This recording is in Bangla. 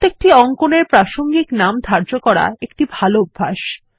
প্রত্যেকটি অঙ্কন এর প্রাসঙ্গিক নাম ধার্য করা একটি ভালো অভ্যাস